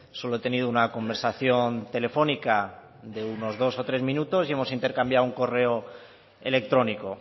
solo he tenido una conversación telefónica de unos dos o tres minutos y hemos intercambiado un correo electrónico